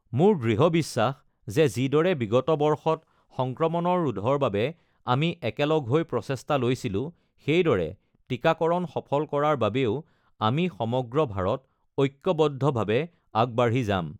মোৰ দৃঢ় বিশ্বাস যে যিদৰে বিগত বৰ্ষত সংক্ৰমণৰ ৰোধৰ বাবে আমি একেলগ হৈ প্ৰচেষ্টা লৈছিলো, সেইদৰে টিকাকৰণ সফল কৰাৰ বাবেও আমি সমগ্ৰ ভাৰত ঐক্যবদ্ধভাৱে আগবাঢ়ি যাম।